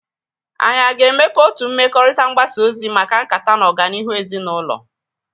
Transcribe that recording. Anyị aga-emepe otu mmekọrịta mgbasa ozi maka nkata na ọganihu ezinaụlọ?